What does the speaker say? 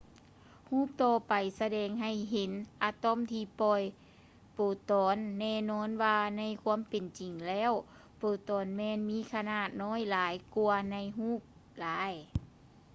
ຮູບຕໍ່ໄປສະແດງໃຫ້ເຫັນອະຕອມທີ່ປ່ອຍໂປຣຕອນ ແນ່ນອນວ່າໃນຄວາມເປັນຈິງແລ້ວໂປຣຕອນແມ່ນມີຂະໜາດນ້ອຍຫຼາຍກ່ວາໃນຮູບຫຼາຍ